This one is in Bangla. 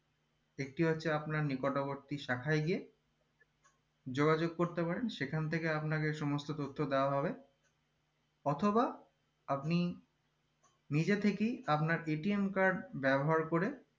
একটি হচ্ছে আপনার নিকটবর্তী শাখায় গিয়ে যোগাযোগ করতে পারেন সেখান থেকে আপনাকে সমস্ত তথ্য দাওয়া হবে অথবা আপনি নিজে থেকেই আপনার paytm card ব্যবহার করুন ম